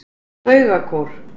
Baugakór